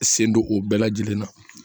Sen don o bɛɛ lajɛlen na